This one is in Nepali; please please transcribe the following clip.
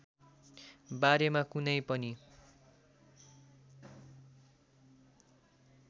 बारेमा कुनै पनि